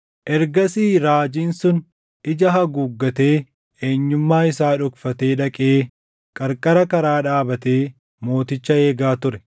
Ergasii raajiin sun ija haguuggatee eenyummaa isaa dhokfatee dhaqee qarqara karaa dhaabatee mooticha eegaa ture.